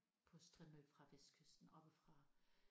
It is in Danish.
På strimmel fra vestkysten oppefra